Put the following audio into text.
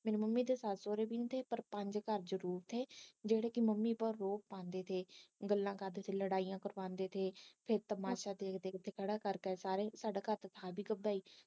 ਮੇਰੀ ਮੰਮੀ ਦੇ ਸੱਸ ਸੋਹਰੇ ਦੀ ਤੇ ਪਰ ਪੰਜ ਘਰ ਚ ਜਿਹੜੇ ਕੇ ਮੰਮੀ ਕੋ ਰੋਜ਼ ਆਂਦੇ ਸੀ ਗੱਲਾਂ ਕਰਦੇ ਲੜਾਈਆਂ ਪਵਾਂਦੇ ਥੇ ਫਿਰ ਤਮਾਸ਼ਾ ਦੇਖਦੇ ਖੜ੍ਹਾ ਕਰ ਕੇ ਸਾਰੀਆਂ ਨੂੰ ਸਾਡਾ ਘਰ